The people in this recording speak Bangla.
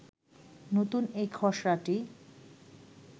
নতুন এই খসড়াটি